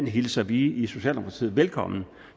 hilser vi i socialdemokratiet velkommen